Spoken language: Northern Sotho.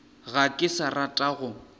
ga ke sa rata go